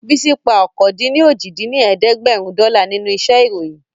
Bísí pa ọ̀kan-dín-ní-ojì dín ní ẹ̀ẹ́dẹ́gbẹ́rún dọ́là nínú iṣẹ́ ìròyìn